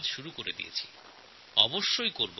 এটা শুরু করে দিয়েছি শেষও করব